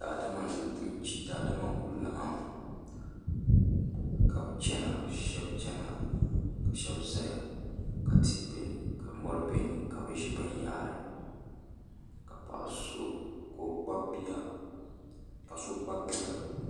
Daadama n ku laɣam ka shab chɛna shab ʒɛya ka tihi bɛ ni ka mori bɛ ni ka bi ʒi binyahari ka paɣa so kpabi bia